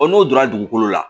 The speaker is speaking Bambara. n'o donna dugukolo la